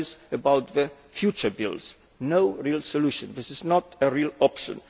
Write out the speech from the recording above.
That is about the future bills no real solution. This is not a real